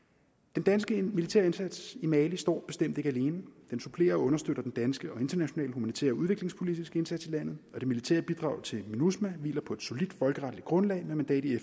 den danske militære indsats i mali står bestemt ikke alene den supplerer og understøtter den danske og internationale humanitære og udviklingspolitiske indsats i landet og det militære bidrag til minusma hviler på et solidt folkeretligt grundlag med mandat i